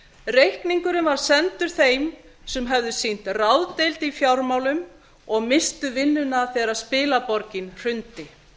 reikningurinn var sendur þeim sem höfðu sýnt ráðdeild í fjármálum og misstu vinnuna þegar spilaborgin hrundi